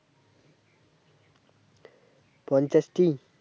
পঞ্চাশটি